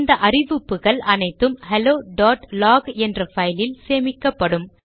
இந்த அறிவிப்புகள் அனைத்தும் ஹெலோலாக் என்ற பைலில் சேமிக்கப்படும்